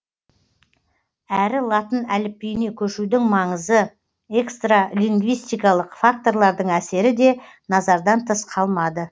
әрі латын әліпбиіне көшудің маңызы экстралингвистикалық факторлардың әсері де назардан тыс қалмады